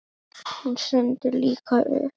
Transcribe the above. Hún stendur líka upp.